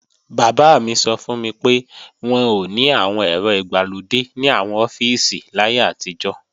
Bàbá mi sọ fún mi pé, wọn ò ní àwọn ẹ̀rọ ìgbàlódé ní àwọn ọ́fíìsì láyé àtijọ́